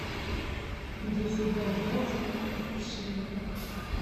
десять бальбоа сколько это в шиллингах